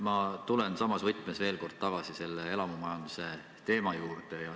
Ma tulen samas võtmes veel kord tagasi elamumajanduse teema juurde.